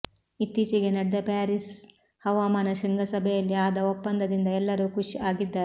ಇತ್ತೀಚೆಗೆ ನಡೆದ ಪ್ಯಾರೀಸ್ ಹವಾಮಾನ ಶೃಂಗಸಭೆಯಲ್ಲಿ ಆದ ಒಪ್ಪಂದದಿಂದ ಎಲ್ಲರೂ ಖುಶ್ ಆಗಿದ್ದಾರೆ